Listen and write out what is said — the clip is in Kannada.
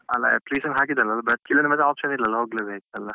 ಅಲ್ಲ application ಹಾಕಿದ್ದೇನಲ್ಲ, ಬರ್ಲಿಲ್ಲದ್ರೆ option ಇಲ್ಲಲ್ಲ ಹೋಗ್ಲೆ ಬೇಕಲ್ಲ.